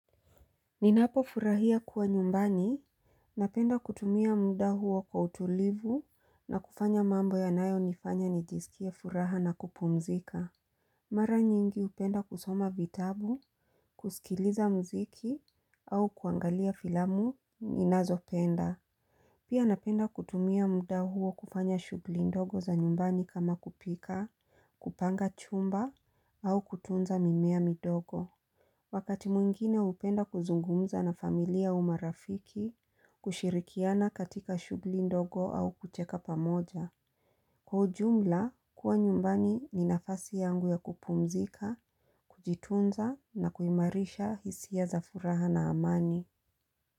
Ninapo furahia kuwa nyumbani, napenda kutumia muda huo kwa utulivu na kufanya mambo ya nayo nifanya nijisikia furaha na kupumzika. Mara nyingi upenda kusoma vitabu, kusikiliza mziki au kuangalia filamu, ninazo penda. Pia napenda kutumia muda huo kufanya shughuli ndogo za nyumbani kama kupika, kupanga chumba au kutunza mimea midogo. Wakati mwingine upenda kuzungumza na familia umarafiki, kushirikiana katika shughuli ndogo au kucheka pamoja. Kwa ujumla, kuwa nyumbani ni nafasi yangu ya kupumzika, kujitunza na kuimarisha hisi za furaha na amani.